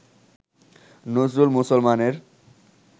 নজরুল মুসলমানের